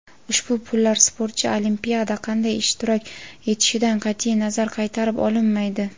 Ushbu pullar sportchi Olimpiyada qanday ishtirok etishidan qat’iy nazar qaytarib olinmaydi.